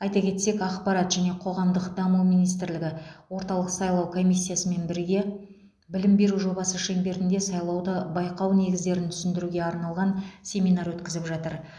айта кетсек ақпарат және қоғамдық даму министрлігі орталық сайлау комиссиясымен бірге білім беру жобасы шеңберінде сайлауды байқау негіздерін түсіндіруге арналған семинар өткізіп жатыр